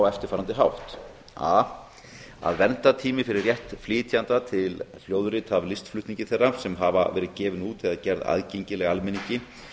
eftirfarandi hátt a að verndartími fyrir rétt flytjenda til hljóðrita af listflutningi þeirra sem hafa verið gefin út eða gerð aðgengileg almenningi